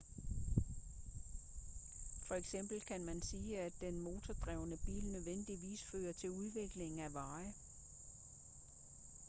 for eksempel kan man sige at den motordrevne bil nødvendigvis fører til udvikling af veje